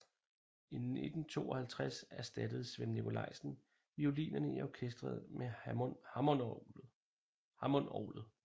I 1952 erstattede Svend Nicolaisen violinerne i orkestret med hammondorglet